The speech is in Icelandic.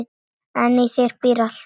En í þér býr allt.